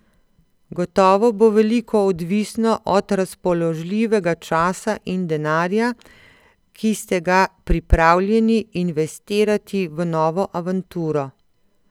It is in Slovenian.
Gotovo bo veliko odvisno od razpoložljivega časa in denarja, ki ste ga pripravljeni investirati v novo avanturo.